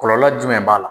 Kɔlɔlɔ jumɛn b'a la